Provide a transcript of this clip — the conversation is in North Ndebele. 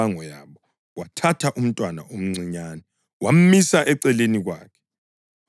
UJesu eyazi imicabango yabo wathatha umntwana omncinyane wamisa eceleni kwakhe.